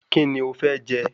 Kíni o fẹ́ jẹ?